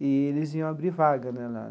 e eles iam abrir vaga né lá.